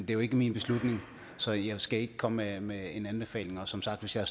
jo ikke min beslutning så jeg skal ikke komme med en anbefaling og som sagt hvis jeg